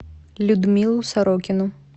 людмилу сорокину